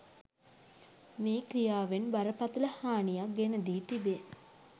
මේ ක්‍රියාවෙන් බරපතල හානියක් ගෙන දී තිබේ